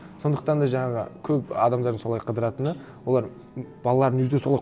сондықтан да жаңағы көп адамдардың солай қыдыратыны олар балаларын өздері солай